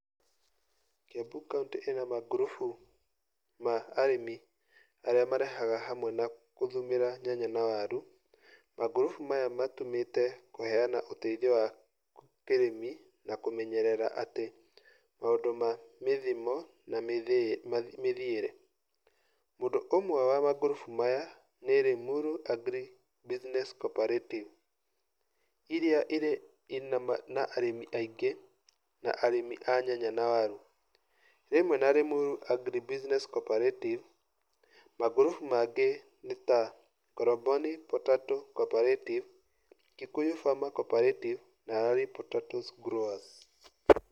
Kiambu county ina magrubu ma arĩmi arĩa marehaga hamwe na gũthumĩra nyanya na waru. Magrubu maya matũmĩte kũheana ũteithio wa kĩrĩmi na kũmenyerera atĩ maũndũ ma mĩthimo na mĩthiĩre. Ũndũ ũmwe wa magrupu maya nĩ Limuru agri business coorperatives iria ina arĩmi aingĩ na arĩmi a nyanya na waru. Rimwe na Limuru agri business coorperatives, magrubu mangĩ nĩta Koromoni potato coorperative, Kikuyu farmer coorperative, na Lari potato growers.